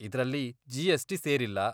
ಇದ್ರಲ್ಲಿ ಜಿ.ಎಸ್.ಟಿ. ಸೇರಿಲ್ಲ.